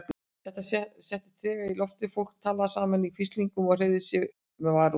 Það settist tregi í loftið, fólk talaði saman í hvíslingum og hreyfði sig með varúð.